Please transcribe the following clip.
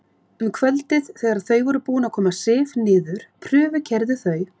Um kvöldið þegar þau voru búin að koma Sif niður prufukeyrðu þau